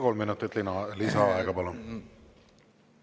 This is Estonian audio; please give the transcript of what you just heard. Kolm minutit lisaaega, palun!